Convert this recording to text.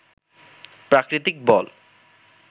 প্রাকৃতিক বল